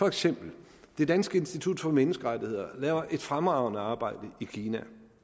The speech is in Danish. eksempel det danske institut for menneskerettigheder laver et fremragende arbejde i kina og